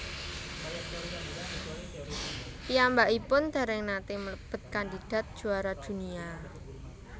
Piyambakipun dèrèng naté mlebet kandidat juara dunia